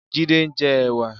Jide n jè èwà